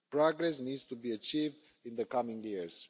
Progress needs to be achieved in the coming years.